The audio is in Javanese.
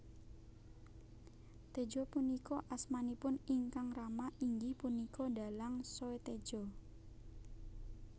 Tejo punika asmanipun ingkang rama inggih punika dhalang Soetedjo